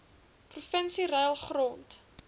provinsie ruil grond